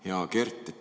Hea Kert!